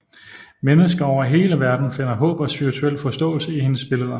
Mennesker over hele verden finder håb og spirituel forståelse i hendes billeder